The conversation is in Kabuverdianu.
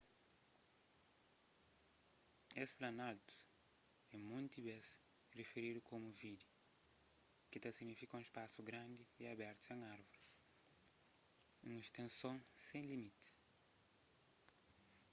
es planaltus é monti bês rifiridu komu vidde ki ta signifika un spasu grandi y abertu sen árvoris un stenson sen limitis